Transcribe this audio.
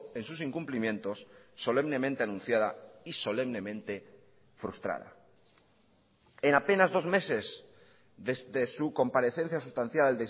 en sus incumplimientos solemnemente anunciada y solemnemente frustrada en apenas dos meses desde su comparecencia sustancial